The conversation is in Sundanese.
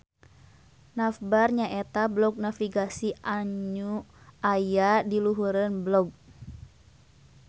Navbar nyaeta blog navigasi anyu aya diluhureun blog